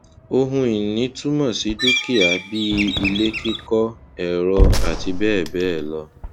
ohunìní túmọ sí dúkìá bíi ilé kíkọ ẹrọ àti bẹẹ bẹẹ lọ